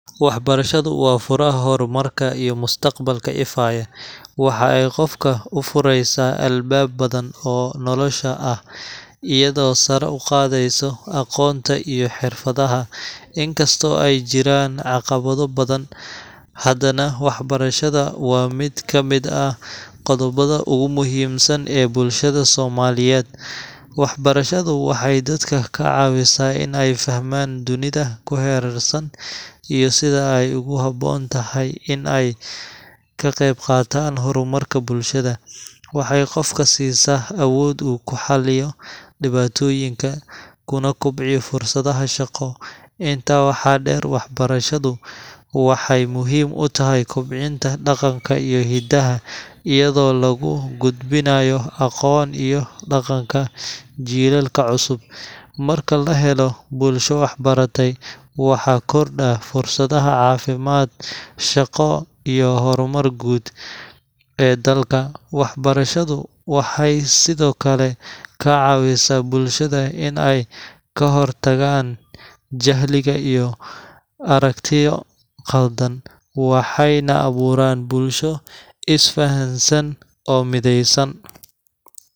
Waxbarashadu waa furaha horumarka iyo mustaqbalka ifaya. Waxa ay qofka u fureysaa albaab badan oo nolosha ah, iyadoo sare u qaadayso aqoonta iyo xirfadaha. Inkastoo ay jiraan caqabado badan, haddana waxbarashada waa mid ka mid ah qodobbada ugu muhiimsan ee bulshada Soomaaliyeed. Waxbarashadu waxay dadka ka caawisaa in ay fahmaan dunida ku hareersan, iyo sida ay ugu habboon tahay in ay ka qaybqaataan horumarka bulshada. Waxay qofka siisaa awood uu ku xaliyo dhibaatooyinka, kuna kobciyo fursadaha shaqo. Intaa waxaa dheer, waxbarashadu waxay muhiim u tahay kobcinta dhaqanka iyo hiddaha, iyadoo lagu gudbinayo aqoon iyo dhaqanka jiilalka cusub. Marka la helo bulsho waxbaratay, waxaa kordha fursadaha caafimaad, shaqo, iyo horumar guud ee dalka. Waxbarashadu waxay sidoo kale ka caawisaa bulshada in ay ka hortagaan jahliga iyo aragtiyo qaldan, waxayna abuurtaa bulsho is fahamsan oo midaysan.